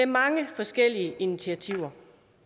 mange forskellige initiativer